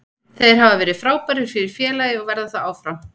Þeir hafa verið frábærir fyrir félagið og verða það áfram.